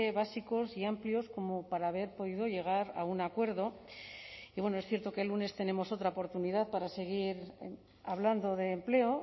básicos y amplios como para haber podido llegar a un acuerdo y bueno es cierto que el lunes tenemos otra oportunidad para seguir hablando de empleo